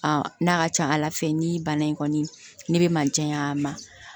n'a ka ca ala fɛ ni bana in kɔni ne bɛ manjan y'a ma